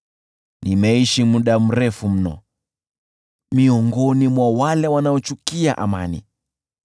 Nimeishi muda mrefu mno miongoni mwa wale wanaochukia amani.